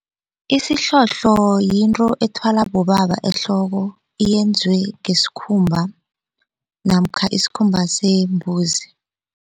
Isihlohlo yinto ethwalwa bobaba ehloko yenziwe ngesikhumba namkha isikhumba sembuzi.